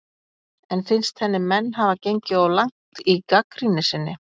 En finnst henni menn hafa gengið of langt í gagnrýni sinni?